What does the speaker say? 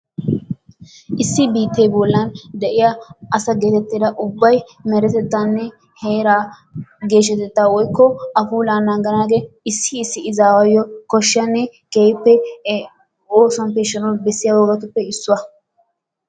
Issi biittee bollan de'iya asa geetettida ubbayi meretettaanne heeraa geeshshatettaa woykko a puulaa naaganaagee issi issi izaawuyyo koshshiyanne keehippe oosuwan peeshshanawu bessiya wogatuppe issuwa.